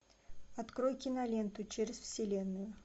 открой киноленту через вселенную